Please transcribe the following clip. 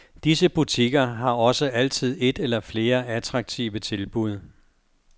Disse butikker har også altid et eller flere attraktive tilbud.